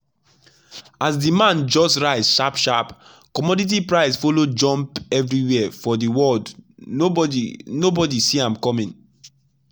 as demand just rise sharp sharp commodity price follow jump everywhere for the world nobody nobody see am coming.